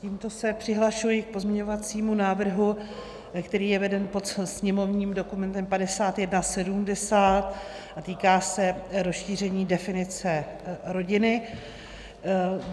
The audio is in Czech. Tímto se přihlašuji k pozměňovacímu návrhu, který je veden pod sněmovním dokumentem 5170 a týká se rozšíření definice rodiny.